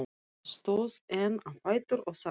Stóð enn á fætur og sagði